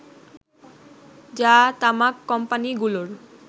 যা তামাক কোম্পানিগুলোর